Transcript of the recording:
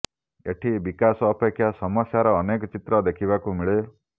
ଏଠି ବିକାଶ ଅପେକ୍ଷା ସମସ୍ୟାର ଅନେକ ଚିତ୍ର ଦେଖିବାକୁ ମିଳେ